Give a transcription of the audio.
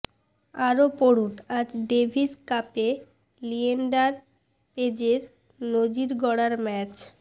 আরও পড়ুন আজ ডেভিস কাপে লিয়েন্ডার পেজের নজির গড়ার ম্যাচ